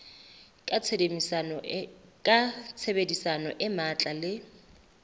ka tshebedisano e matla le